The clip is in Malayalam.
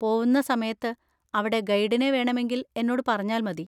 പോവുന്ന സമയത്ത് അവിടെ ഗൈഡിനെ വേണമെങ്കിൽ എന്നോട് പറഞ്ഞാൽ മതി.